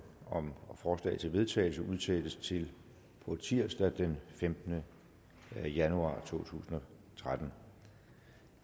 om forslag til vedtagelse udsættes til tirsdag den femtende januar to tusind og tretten